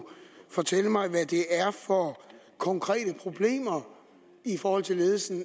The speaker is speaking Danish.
fortælle mig hvad det er for konkrete problemer i forhold til ledelsen af